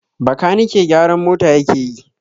Bakanike gyaran mota yake yi